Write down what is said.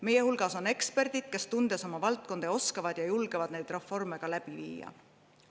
Meie hulgas on eksperdid, kes, tundes oma valdkonda, oskavad ja julgevad neid reforme viia.